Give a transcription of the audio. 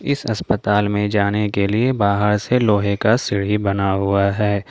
इस अस्पताल में जाने के लिए बाहर से लोहे का सीढ़ी बना हुआ है।